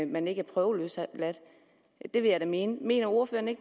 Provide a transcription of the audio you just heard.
man ikke er prøveløsladt det vil jeg da mene mener ordføreren